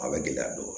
A bɛ gɛlɛya dɔ